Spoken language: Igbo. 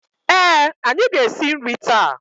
Ee, anyị ga-esi nri taa